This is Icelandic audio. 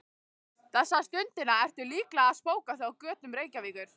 Þessa stundina ertu líklega að spóka þig á götum Reykjavíkur.